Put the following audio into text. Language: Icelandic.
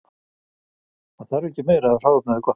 Það þarf ekki meira ef hráefnið er gott.